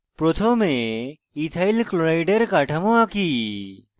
প্রথমে ethyl chloride ethyl chloride এর কাঠামো আঁকি